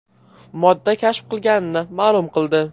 modda kashf qilinganini ma’lum qildi.